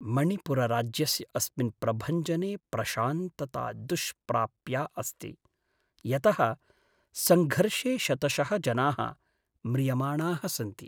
मणिपुरराज्यस्य अस्मिन् प्रभञ्जने प्रशान्तता दुष्प्राप्या अस्ति, यतः सङ्घर्षे शतशः जनाः म्रियमाणाः सन्ति।